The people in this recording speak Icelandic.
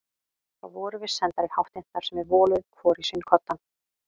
Þá vorum við sendar í háttinn þar sem við voluðum hvor í sinn koddann.